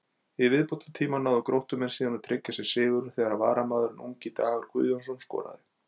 Í viðbótartíma náðu Gróttumenn síðan að tryggja sér sigurinn þegar varamaðurinn ungi Dagur Guðjónsson skoraði.